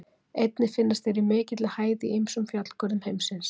Einnig finnast þeir í mikilli hæð í ýmsum fjallgörðum heimsins.